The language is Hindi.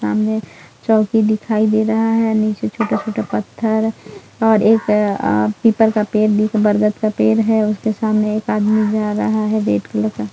सामने चौकी दिखाई दे रहा है नीचे छोटा-छोटा पत्थर और एक आ पीपल का पेड़ बरगद का पेड़ है उसके सामने एक आदमी जा रहा है रेड कलर का--